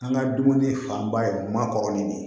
An ka dumuni fanba ye ma kɔrɔlen de ye